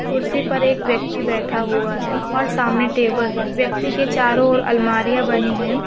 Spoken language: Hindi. कुर्सी पर एक व्यक्ति बैठा हुआ है और सामने टेबल है व्यक्ति के चारों और अलमारि यां बनी है।